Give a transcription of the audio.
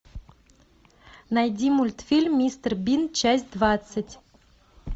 найди мультфильм мистер бин часть двадцать